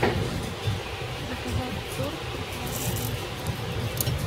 заказать торт трухлявый пень